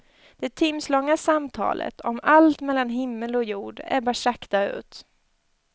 Det timslånga samtalet, om allt mellan himmel och jord, ebbar sakta ut.